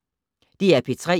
DR P3